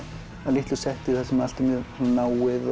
á litlu setti þar sem allt er mjög náið